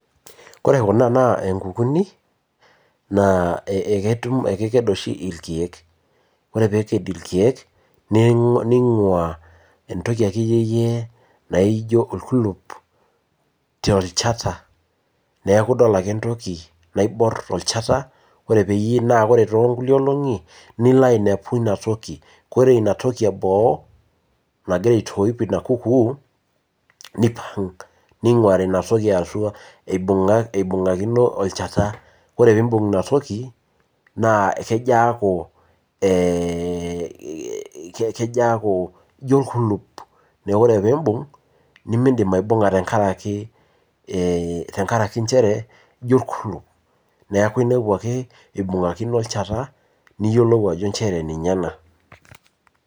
Ore kunaa naa inkukunik naa eketum ekeked oshi irkeek. Ore pee eked irkeek ning'ua entok ekeyiyie naijo orkulup te nchanta. Neeku idol ake entoki naibor tolchata ore pee na ore too nkulie olong'i nilo ainepu ina toki ore ina toki eboo nagira aitoip ina kuuk neipang' ninguari ina toki ee atua. Ibunga'kino olchata ore pee ibung ina toki naa kejo aaku keja akuu ino orkulup neeku tenijo aibung' midim aibung'a tenkaraki inchere ino orkulup neeku inepu ake ibungaki olchata niyiolou ajo nchere ninye ena.